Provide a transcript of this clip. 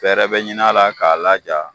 Fɛrɛ be ɲin'ala k'a laja